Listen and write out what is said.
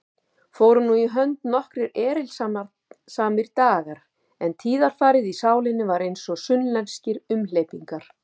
Fóru nú í hönd nokkrir erilsamir dagar, en tíðarfarið í sálinni var einsog sunnlenskir umhleypingar.